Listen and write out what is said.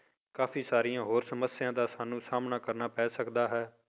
ਕਾਫ਼ੀ ਸਾਰੀਆਂ ਹੋਰ ਸਮੱਸਿਆ ਦਾ ਸਾਨੂੰ ਸਾਹਮਣਾ ਕਰਨਾ ਪੈ ਸਕਦਾ ਹੈ।